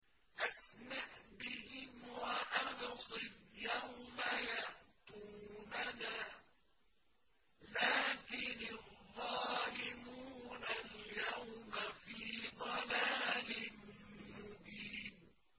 أَسْمِعْ بِهِمْ وَأَبْصِرْ يَوْمَ يَأْتُونَنَا ۖ لَٰكِنِ الظَّالِمُونَ الْيَوْمَ فِي ضَلَالٍ مُّبِينٍ